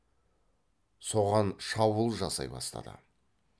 соған шабуыл жасай бастады